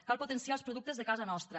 cal potenciar els productes de casa nostra